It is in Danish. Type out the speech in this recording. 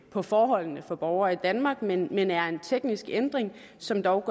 på forholdene for borgere i danmark men men er en teknisk ændring som dog